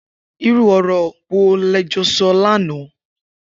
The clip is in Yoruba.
Irù ọrọ wó lẹ jọ sọ làná